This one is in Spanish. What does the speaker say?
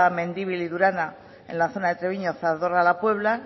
mendibil y durana en la zona de treviño zadorra la puebla